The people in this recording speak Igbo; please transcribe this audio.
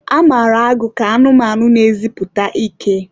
A mara agụ ka anụmanụ na-eziputa ike.